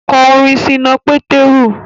Kọ orin Ṣínà Pétérù